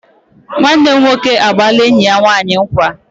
Nwanne m nwoke agbaala enyi ya nwanyi nkwa